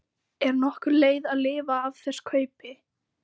Er nokkur leið að lifa af þess kaupi